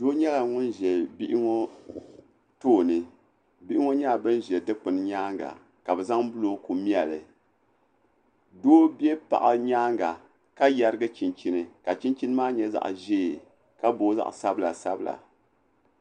Doo nyɛla ŋun ʒe bihi ŋɔ tooni bihi ŋɔ nyɛla ban ʒe dukpuni nyaaŋa ka bɛ zaŋ bulooku meli doo be paɣa nyaaŋa ka yarigi chinchini ka chinchini maa nyɛ zaɣ'ʒee ka booi zaɣ'sabila.